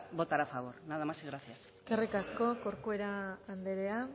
votar a favor nada más y gracias eskerrik asko corcuera anderea